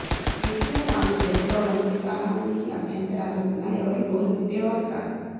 ఎన్టీఆర్ ఆమెకు దగ్గరవడంపై చాలామందికి అభ్యంతరాలు ఉన్నా ఎవరూ నోరు విప్పేవారు కాదు